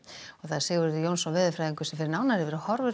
Sigurður Jónsson veðurfræðingur fer nánar yfir